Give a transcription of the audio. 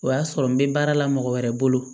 O y'a sɔrɔ n bɛ baara la mɔgɔ wɛrɛ bolo